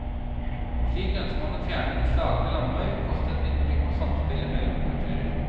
Slik ønsker man å fjerne seg fra den slagne landevei og kaste et nytt blikk på samspillet mellom kulturer.